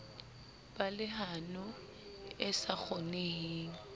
ba lehano e sa kgoneheng